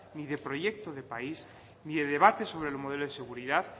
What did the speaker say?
ni de proyecto de país ni de debate sobre el modelo de seguridad